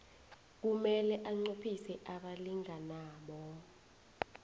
kumele anqophise abalinganabo